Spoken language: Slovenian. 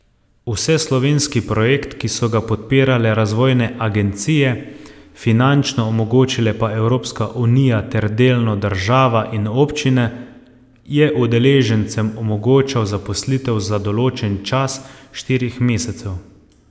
Vseslovenski projekt, ki so ga podpirale razvojne agencije, finančno omogočile pa Evropska unija ter delno država in občine, je udeležencem omogočal zaposlitev za določen čas štirih mesecev.